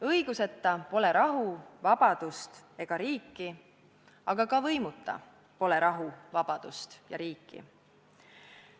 Õiguseta pole rahu, vabadust ega riiki, aga ka võimuta pole rahu, vabadust ega riiki.